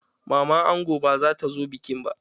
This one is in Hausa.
Maman ango ba zata zo bikin ba.